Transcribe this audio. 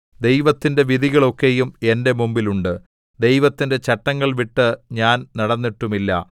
ദൈവത്തിന്റെ വിധികൾ ഒക്കെയും എന്റെ മുമ്പിൽ ഉണ്ട് ദൈവത്തിന്റെ ചട്ടങ്ങൾ വിട്ട് ഞാൻ നടന്നിട്ടുമില്ല